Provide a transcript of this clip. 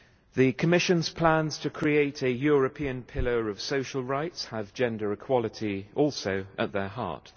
The Commission's plans to create a European pillar of social rights have gender equality also at their heart.